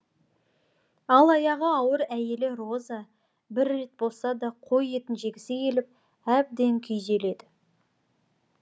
ал аяғы ауыр әйелі роза бір рет болса да қой етін жегісі келіп әбден күйзеледі